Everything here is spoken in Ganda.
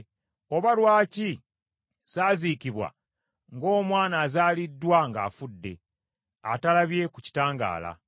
Oba lwaki saaziikibwa ng’omwana azaaliddwa ng’afudde, atalabye ku kitangaala?